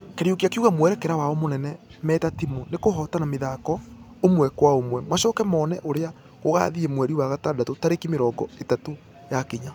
Kariuki akĩuga mwerekera wao mũnene meta timũ nĩkũhotana mĩthako ũmwekwaũmwe . Macoke mone ũrĩa gũgathie mweri wa gatandatũ tarĩki mĩrongo ĩtatu yakinya.